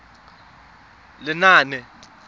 lenaane